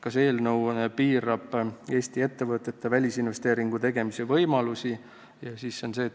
Kas eelnõu piirab Eesti ettevõtete välisinvesteeringute tegemise võimalusi?